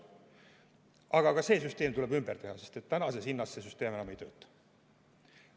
Aga ka see süsteem tuleb ümber teha, sest tänase hinnaga see süsteem enam ei tööta.